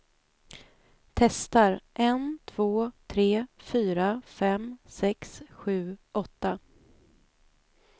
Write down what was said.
Testar en två tre fyra fem sex sju åtta.